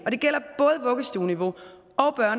og det gælder både vuggestueniveau